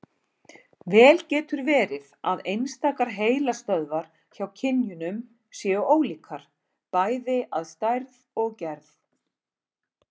Vel getur verið að einstakar heilastöðvar hjá kynjunum séu ólíkar, bæði að stærð og gerð.